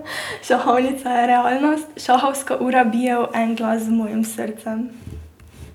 Šahovnica je realnost, šahovska ura bije v en glas z mojim srcem.